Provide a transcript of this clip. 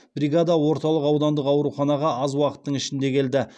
бригада орталық аудандық ауруханаға аз уақыттың ішінде келді